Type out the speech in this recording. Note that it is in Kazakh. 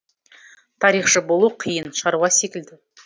тарихшы болу қиын шаруа секілді